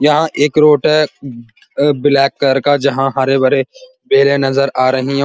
यहाँ एक रोड है। अ ब ब्लैक कलर का जहां हरे भरे भरे पेड़े नज़र आ रही हैं और --